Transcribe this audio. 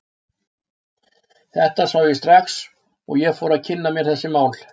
Þetta sá ég strax og ég fór að kynna mér þessi mál.